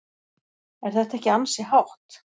Er þetta ekki ansi hátt?